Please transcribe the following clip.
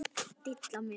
Dilla mér.